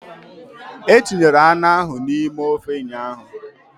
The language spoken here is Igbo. E tinyere anụ ahụ n'ime ofe ụnyaahụ